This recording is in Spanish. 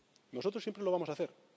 Nosotros siempre lo vamos a hacer.